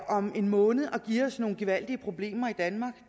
om en måned at give os nogle gevaldige problemer i danmark